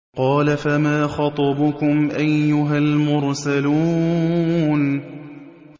قَالَ فَمَا خَطْبُكُمْ أَيُّهَا الْمُرْسَلُونَ